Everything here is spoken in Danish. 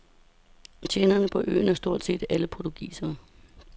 Tjenerne på øen er stort set alle portugisere.